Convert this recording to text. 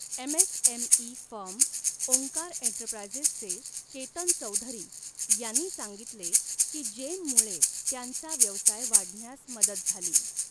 MSME firm Omkar एंटरप्राइझचे केतन चौधरी यांनी सांगितले की जेममुळे त्यांचा व्यवसाय वाढण्यास मदत झाली.